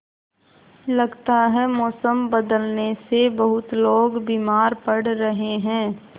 लगता है मौसम बदलने से बहुत लोग बीमार पड़ रहे हैं